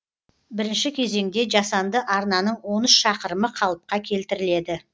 бірінші кезеңде жасанды арнаның он үш шақырымы қалыпқа келтіріледі